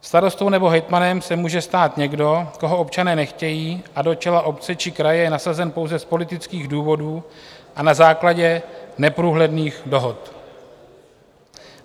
Starostou nebo hejtmanem se může stát někdo, koho občané nechtějí a do čela obce či kraje je nasazen pouze z politických důvodů a na základě neprůhledných dohod.